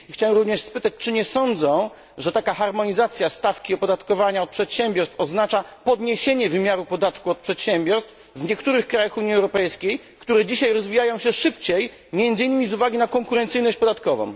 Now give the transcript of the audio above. Chciałbym również spytać, czy nie sądzą, że taka harmonizacja stawki opodatkowania od przedsiębiorstw oznacza podniesienie wymiaru podatku od przedsiębiorstw w niektórych krajach Unii Europejskiej, które dzisiaj rozwijają się szybciej, między innymi z uwagi na konkurencyjność podatkową.